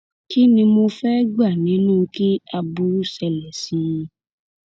kí ni mo fẹẹ gbà nínú kí aburú ṣẹlẹ sí i